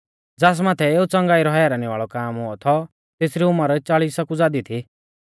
ज़ास माथै एऊ च़ंगाई रौ हैरानी वाल़ौ काम हुऔ थौ तेसरी उमर चालिसा कु ज़ादी थी